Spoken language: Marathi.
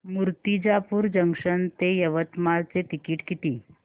मूर्तिजापूर जंक्शन ते यवतमाळ चे तिकीट किती